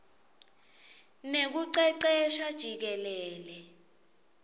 nekucecesha jikelele